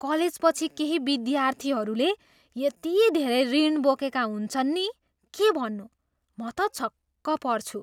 कलेजपछि केही विद्यार्थीहरूले यति धेरै ऋण बोकेका हुन्छन् नि के भन्नु, म त छक्क पर्छु।